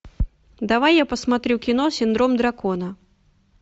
давай я посмотрю кино синдром дракона